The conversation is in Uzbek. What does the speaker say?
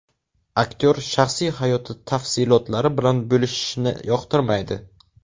Aktyor shaxsiy hayoti tafsilotlari bilan bo‘lishishni yoqtirmaydi.